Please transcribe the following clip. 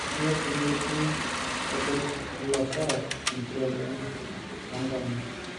Kanyoo pemetii orgolikipa loosara empira enye oonkama